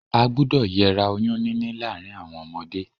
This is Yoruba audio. A gbúdọ̀ yera oyún níní láàrin àwon ọmọdé